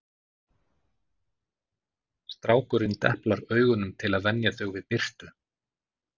Strákurinn deplar augunum til að venja þau við birtu